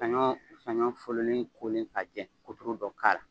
Sanɲɔ sanɲɔ fololen kolen k'a jɛ koto dɔ k'a la.